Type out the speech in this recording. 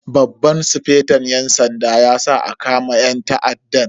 Babban sufeton yan sanda ya sa a kama yan ta'addan.